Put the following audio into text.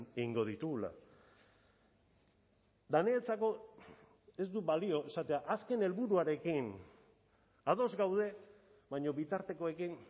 egingo ditugula eta niretzako ez du balio esatea azken helburuarekin ados gaude baina bitartekoekin